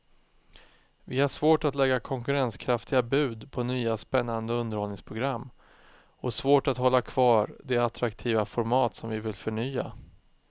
Vi har svårt att lägga konkurrenskraftiga bud på nya spännande underhållningsprogram och svårt att hålla kvar de attraktiva format som vi vill förnya.